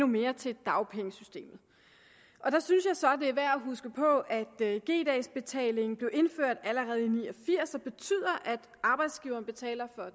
mere til dagpengesystemet der synes jeg så det er værd at huske på at g dags betalingen blev indført allerede i nitten ni og firs og betyder at arbejdsgiveren betaler for